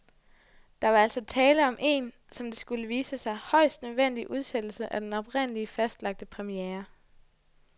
Der var altså tale om en, som det skulle vise sig, højst nødvendig udsættelse af den oprindeligt fastlagte premiere.